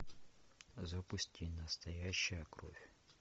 запусти настоящая кровь